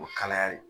O kalayali